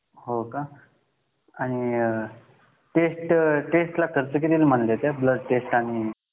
हो का किती खर्च म्हणले होते ब्लड टेस्ट ला